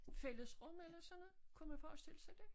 Fællesrum eller sådan noget kunne man forestille sig det?